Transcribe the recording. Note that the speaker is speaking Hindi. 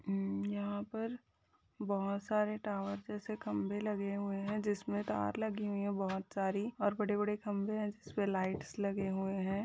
उ यहाँ पर बहुत सारे टावर जैसे खम्बे लगे हुए है । जिसमे तार लगे हुईं है बोहोत सारी और बड़े बड़े खम्बे हैं जिसमे लाइट्स लगे हुए हैं।